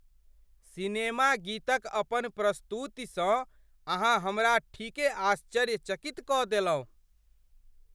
Cinema गीतक अपन प्रस्तुतिसँ अहाँ हमरा ठीके आश्चर्यचकित कऽ देलहुँ।